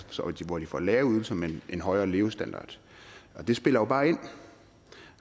hvor de får lave ydelser men en højere levestandard og det spiller jo bare ind